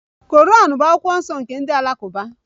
Quran bụ akwụkwọ nsọ nke ndị Alakụba